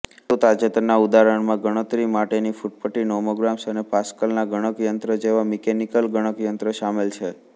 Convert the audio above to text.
વધુ તાજેતરનાં ઉદાહરણોમાં ગણતરી માટેની ફૂટપટ્ટી નોમોગ્રામ્સ અને પાસ્કલના ગણકયંત્ર જેવા મિકેનિકલ ગણકયંત્ર શામેલ છે